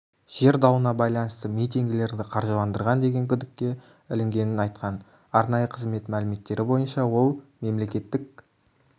жер дауына байланысты митингілерді қаржыландырған деген күдікке ілінгенін айтқан арнайы қызмет мәліметтері бойынша ол мемлекеттік